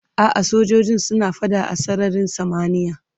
A'a, fasinjojin suna fada a sararin samaniya.